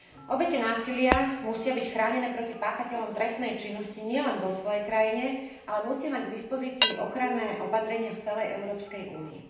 Obete násilia musia byť chránené proti páchateľom trestnej činnosti nielen vo svojej krajine, ale musia mať k dispozícii ochranné opatrenia v celej Európskej únii.